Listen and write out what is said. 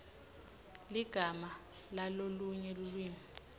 ligama lalolunye lulwimi